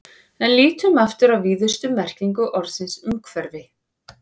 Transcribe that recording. En lítum aftur á víðustu merkingu orðsins umhverfi.